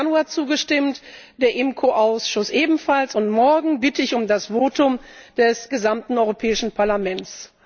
17.Januar zugestimmt, der IMCO Ausschuss ebenfalls und morgen bitte ich um das Votum des gesamten Europäischen Parlaments.